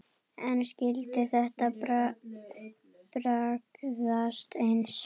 En skyldi þetta bragðast eins?